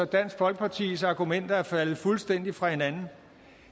dansk folkepartis argumenter er faldet fuldstændig fra hinanden